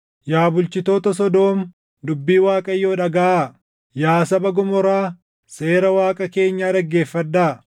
Yaa bulchitoota Sodoom dubbii Waaqayyoo dhagaʼaa; yaa saba Gomoraa, Seera Waaqa keenyaa dhaggeeffadhaa!